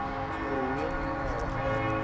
uri hu vhe na nila